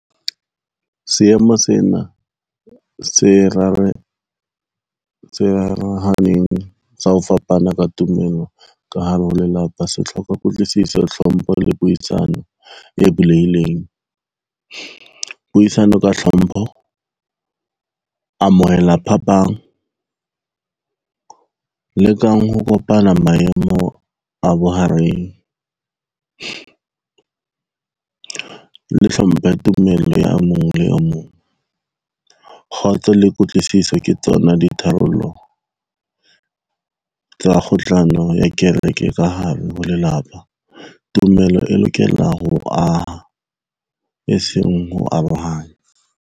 Seemo sena se rarahaneng sa ho fapana ka tumelo ka hare ho lelapa se hloka kutlwisiso, hlompho le puisano e bulehileng. Puisano ka hlompho, amohela phapang lekang ho kopana maemo a bohareng le hlomphe tumelo ya mong le o mong. Kgotso le kutlwisiso ke tsona di tharollo tsa kgohlano ya kereke ka hare ho lelapa, tumelo e lokela ho aha, e seng ho arohanya.